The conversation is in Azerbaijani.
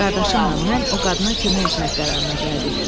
Qardaşımla mən o qadına kömək etmək qərarına gəldik.